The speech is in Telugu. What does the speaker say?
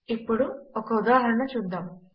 ఇప్పుడు ఒక ఉదాహరణ చూద్దాము